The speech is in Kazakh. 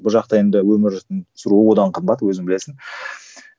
бұл жақта енді өмір сүру одан қымбат өзің білесің